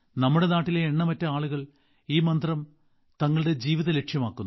നമ്മുടെ നാട്ടിലെ എണ്ണമറ്റ ആളുകൾ ഈ മന്ത്രം തങ്ങളുടെ ജീവിതലക്ഷ്യമാക്കുന്നു